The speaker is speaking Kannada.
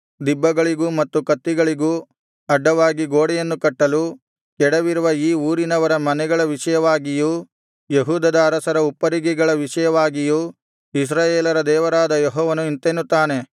ದಿಬ್ಬಗಳಿಗೂ ಮತ್ತು ಕತ್ತಿಗಳಿಗೂ ಅಡ್ಡವಾಗಿ ಗೋಡೆಯನ್ನು ಕಟ್ಟಲು ಕೆಡವಿರುವ ಈ ಊರಿನವರ ಮನೆಗಳ ವಿಷಯವಾಗಿಯೂ ಯೆಹೂದದ ಅರಸರ ಉಪ್ಪರಿಗೆಗಳ ವಿಷಯವಾಗಿಯೂ ಇಸ್ರಾಯೇಲರ ದೇವರಾದ ಯೆಹೋವನು ಇಂತೆನ್ನುತ್ತಾನೆ